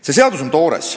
See seadus on toores.